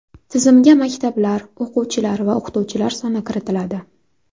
Tizimga maktablar, o‘quvchilar va o‘qituvchilar soni kiritiladi.